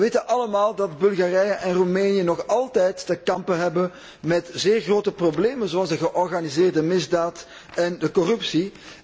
We weten allemaal dat Bulgarije en Roemenië nog altijd te kampen hebben met zeer grote problemen, zoals de georganiseerde misdaad en corruptie.